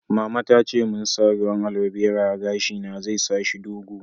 Mama ta ce mun n'sa ruwan aloe vera a'gashi na, zai sa shi dogo.